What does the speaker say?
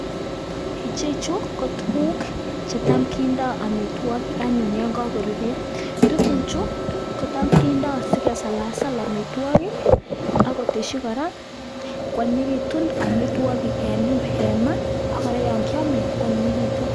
ichechuu kotuguuk chetam kindaii amitwagiik ako magat koteshin anyinyindo eng tuguk chekiamee kot missing